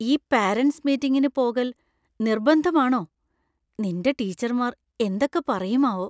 ഈ parents മീറ്റിങ്ങിന് പോകൽ നിർബന്ധമാണോ? നിൻ്റെ ടീച്ചർമാർ എന്തൊക്കെ പറയും ആവോ.